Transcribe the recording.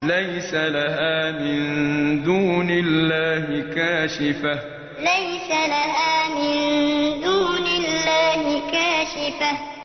لَيْسَ لَهَا مِن دُونِ اللَّهِ كَاشِفَةٌ لَيْسَ لَهَا مِن دُونِ اللَّهِ كَاشِفَةٌ